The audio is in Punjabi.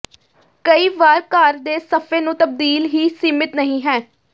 ਕਈ ਵਾਰ ਘਰ ਦੇ ਸਫ਼ੇ ਨੂੰ ਤਬਦੀਲ ਹੀ ਸੀਮਿਤ ਨਹੀ ਹੈ